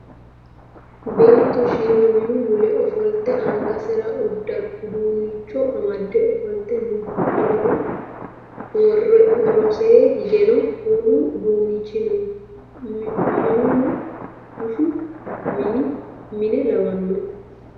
Beetto shiima minu mule ofolte angasera uduunnicho amade ofolte no. Qoleno worosee higeno wolu uduunnichi no. Minuno bushshu mine lawanno.